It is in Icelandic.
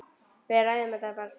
Við ræðum þetta bara síðar.